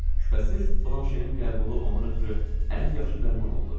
Şübhəsiz, Blanşenin qəbulu onun üçün ən yaxşı dərman oldu.